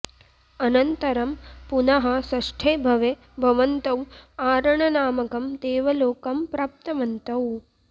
अनन्तरं पुनः षष्ठे भवे भवन्तौ आरणनामकं देवलोकं प्राप्तवन्तौ